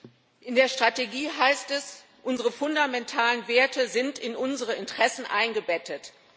Herr Präsident! In der Strategie heißt es Unsere fundamentalen Werte sind in unsere Interessen eingebettet.